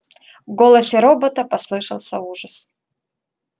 в голосе робота послышался ужас